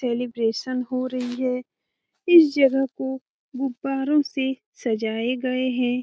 Celebration हो रही है इस जगह को गुब्बारों से सजाए गए हैं।